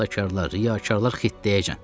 Saxtakarlar, riyakarlar xittəyəcəkən.